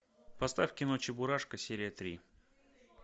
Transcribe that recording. поставь кино чебурашка серия три